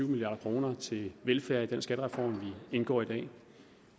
milliard kroner til velfærd i den skattereform vi indgår i dag